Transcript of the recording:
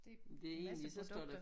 Det en masse produkter